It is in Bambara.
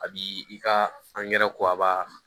A b'i i ka angɛrɛ ko aba